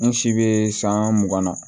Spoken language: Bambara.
N si bɛ san mugan na